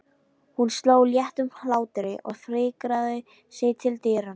Hún hló léttum hlátri og fikraði sig til dyranna.